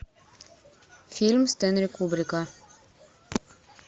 фильм стэнли кубрика